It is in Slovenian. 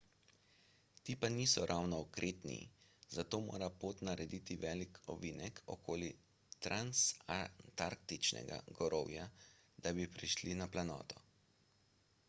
ti pa niso ravno okretni zato mora pot narediti velik ovinek okoli transantarktičnega gorovja da bi prišli na planoto